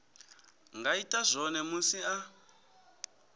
nga ita zwone musi a